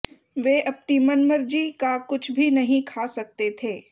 वे अपनी मन मर्जी का कुछ भी नहीं खा सकते थे